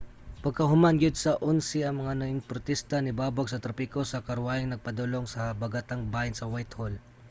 pagkahuman gyud sa 11:00 ang mga ningprotesta nibabag sa trapiko sa karwaheng nagpadulong sa habagatang bahin sa whitehall